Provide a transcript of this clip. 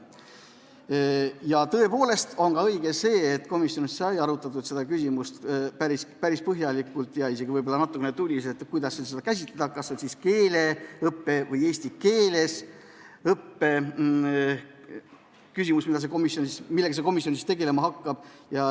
Ja tõepoolest on õige ka see, et komisjonis arutati päris põhjalikult, isegi võib-olla natukene tuliselt seda küsimust, millega see komisjon tegelema hakkab – kas see on keeleõpe või eesti keeles õpe.